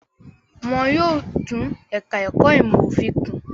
Wọn yóò tún ẹ̀ka-ẹ̀kọ́ ìmọ̀-òfin kùn.